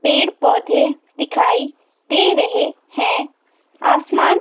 पेड़ पौधे दिखाई दे रहे हैं आसमान--